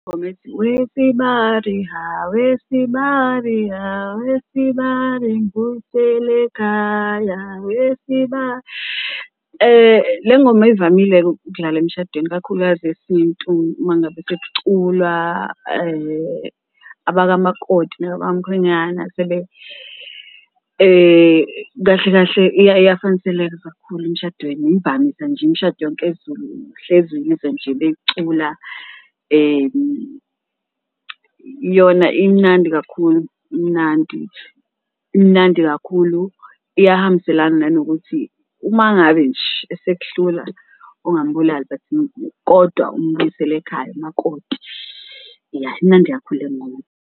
Ingoma ethi, wesibari hha, wesibari hha, wesibari mubuyisele ekhaya wesibari, le ngoma ivamile-ke ukudlala emshadweni kakhulukazi esintu uma ngabe sekuculwa abakamakoti nabakwamkhwenyana . Kahle kahle iyafaniseleka kakhulu emshadweni imvamisa nje imishado yonke yesiZulu uhlezi nje uyizwa nje beyicula yona imnandi kakhulu, imnandi imnandi kakhulu. Iyahambiselana nanokuthi uma ngabe nje esekuhlula ungamubulali but kodwa umubuyisele ekhaya umakoti ya, imnandi kakhulu le ngoma.